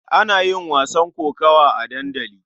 Ana yin wasan kokawa a dandali.